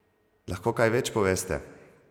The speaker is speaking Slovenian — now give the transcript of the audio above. Lahko kaj več poveste?